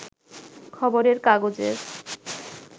খবরের কাগজের